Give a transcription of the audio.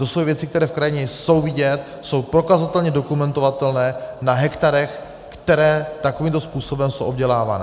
To jsou věci, které v krajině jsou vidět, jsou prokazatelně dokumentovatelné na hektarech, které takovýmto způsobem jsou obdělávané.